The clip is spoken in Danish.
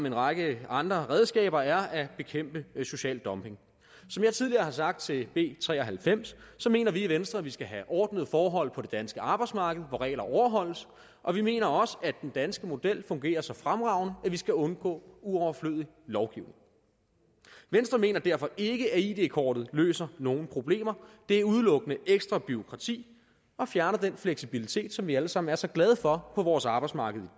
en række andre redskaber er at bekæmpe social dumping som jeg tidligere har sagt til b tre og halvfems mener vi i venstre at vi skal have ordnede forhold på det danske arbejdsmarked hvor regler overholdes og vi mener også at den danske model fungerer så fremragende at vi skal undgå overflødig lovgivning venstre mener derfor ikke at id kortet løser nogen problemer det er udelukkende ekstra bureaukrati og fjerner den fleksibilitet som vi alle sammen er så glade for på vores arbejdsmarked